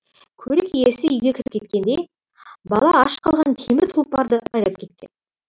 көлік иесі үйге кіріп кеткенде бала ашық қалған темір тұлпарды айдап кеткен